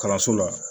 Kalanso la